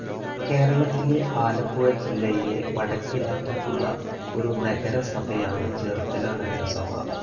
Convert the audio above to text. കേരളത്തിലെ ആലപ്പുഴ ജില്ലയിലെ വടക്കേ അറ്റത്തുള്ള ഒരു നഗരസഭയാണ് ചേർത്തല നഗരസഭ.